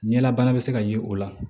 Ɲɛlabana bɛ se ka ye o la